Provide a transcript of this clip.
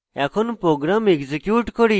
এখন program execute করি